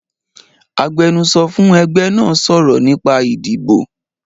Agbẹ́nusọ́ fún ẹgbẹ́ náà sọ̀rọ̀ nípa ìdìbò